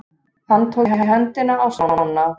Hann tók í hendina á Stjána.